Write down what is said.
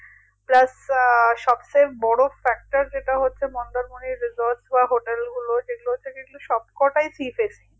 plus আহ সবচেয়ে বড়ো factor যেটা হচ্ছে মন্দারমণির resort বা hotel গুলো যেগুলো হচ্ছে সবকটাই sea facing